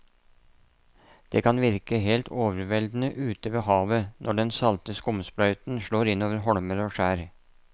Det kan virke helt overveldende ute ved havet når den salte skumsprøyten slår innover holmer og skjær.